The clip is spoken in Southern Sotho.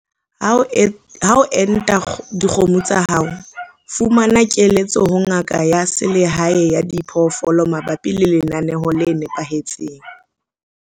Ha o enta dikgomo tsa hao, fumana keletso ho ngaka ya selehae ya diphoofolo mabapi le lenaneo le nepahetseng.